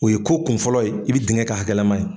O ye ko kun fɔlɔ ye i bɛ dingɛn ka hakɛlama ye.